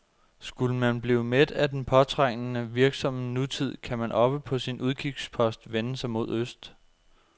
Skulle man blive mæt af den påtrængende, virksomme nutid, kan man oppe på sin udkigspost vende sig mod øst.